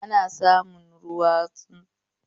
Ana samun tsaunuka, ruwa, tudu, da sauran su akan ƙasa.